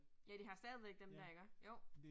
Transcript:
Ja, de har stadigvæk dem der iggå, jo